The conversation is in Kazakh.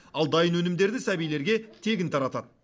ал дайын өнімдерді сәбилерге тегін таратады